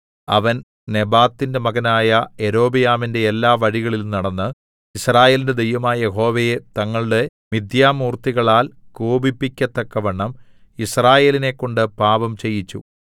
അവൻ നെബാത്തിന്റെ മകനായ യൊരോബെയാമിന്റെ എല്ലാ വഴികളിലും നടന്ന് യിസ്രായേലിന്റെ ദൈവമായ യഹോവയെ തങ്ങളുടെ മിഥ്യാമൂർത്തികളാൽ കോപിപ്പിക്കത്തക്കവണ്ണം യിസ്രായേലിനെക്കൊണ്ട് പാപം ചെയ്യിച്ചു